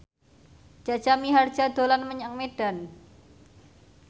Jaja Mihardja dolan menyang Medan